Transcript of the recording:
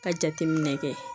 Ka jateminɛ kɛ